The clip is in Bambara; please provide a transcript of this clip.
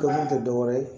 Dɔnni tɛ dɔwɛrɛ ye